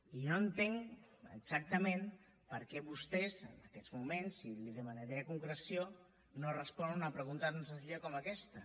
i no entenc exactament per què vostès en aquests moments i li demanaria concreció no responen a una pregunta tan senzilla com aquesta